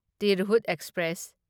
Tirhut express